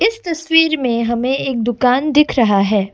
इस तस्वीर में हमें एक दुकान दिख रहा है।